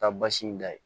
Taa basi in da ye